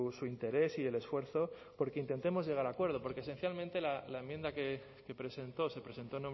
su interés y el esfuerzo por que intentemos llegar a acuerdos porque esencialmente la enmienda que presentó se presentó